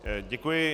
Děkuji.